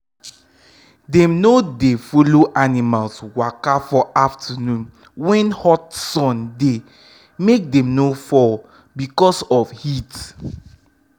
dem no dem no dey follow animals waka for afternoon when hot sun dey make dem no fall because of heat.